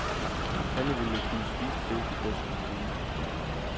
Alle ville kunne spise det, de bedst kunne lide.